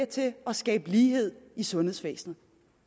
til at skabe lighed i sundhedsvæsenet